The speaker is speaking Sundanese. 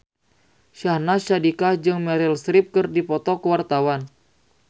Syahnaz Sadiqah jeung Meryl Streep keur dipoto ku wartawan